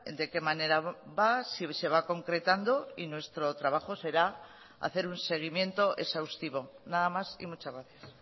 de qué manera va si se va concretando y nuestro trabajo será hacer un seguimiento exhaustivo nada más y muchas gracias